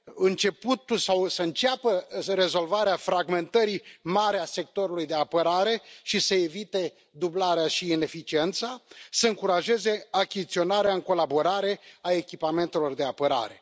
începutul sau să înceapă rezolvarea fragmentării mare a sectorului de apărare și să evite dublarea și ineficiența, să încurajeze achiziționarea în colaborare a echipamentelor de apărare.